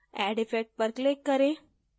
add effect पर click करें